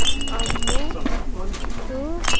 Ammu-- --తు.